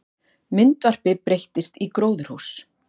Myndvarpi breyttist í gróðurhús